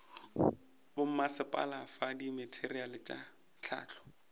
bommasepala fa dimateriale tša hlahlo